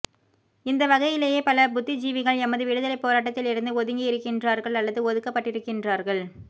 இந்த வகையிலேயே பல புத்திஜீவிகள் எமது விடுதலைப் போராட்டத்திலிருந்து ஒதுங்கியிருக்கின்றார்கள் அல்லது ஒதுக்கப்பட்டிருக்கின்றார்க